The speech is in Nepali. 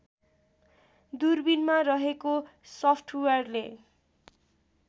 दूरबिनमा रहेको सफ्टवेयरले